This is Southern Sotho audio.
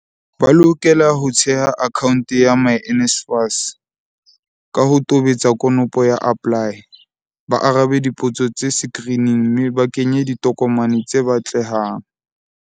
Ba lokela ho theha akhaonte ya myNSFAS, ka ho tobetsa konopo ya APPLY, ba arabe dipotso tse sekirining mme ba kenye ditokomane tse batle hang.